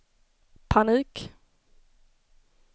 panik